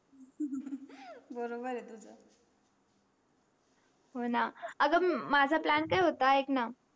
बरोबर आहे तुझा हो ना अग माझा plan काय होता एक ना.